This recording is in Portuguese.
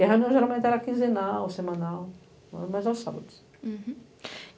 E a reunião geralmente era quinzenal, semanal, mas aos sábados.